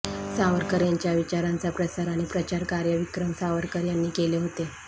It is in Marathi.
सावरकर यांच्या विचारांचा प्रसार आणि प्रचार कार्य विक्रम सावरकर यांनी केले होते